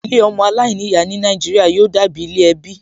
Ilé ọmọ aláìníyàá ní Nàìjíríà yóò dàbí ilé ẹbí